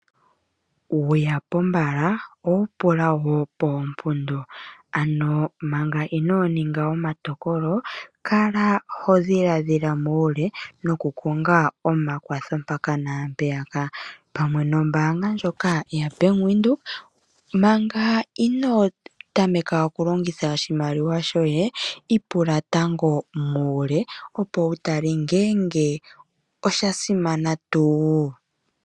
Wuya pombala owu pula woo poompundo ano Manga inoo ninga omatokolo kala ho dhilaadhila muule onga omakwatho mpaka naampeyaka pamwe nombaanga ndjoka yaBank Windhoek Manga inoo tameka okulongitha oshimaliwa shoye ipula tango muule opo wu tale ngeenge oshasimana tuu.